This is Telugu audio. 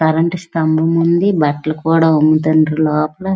కరెంటు సంభం కూడా ఉన్నది బట్టలు కూడా అముతున్నారు లోపాల.